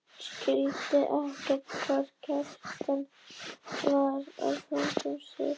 Skildirðu þá ekki að Kjartan var að bera mig þungum sökum?